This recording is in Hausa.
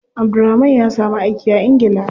Abdulrahman ya samu aiki a ingila.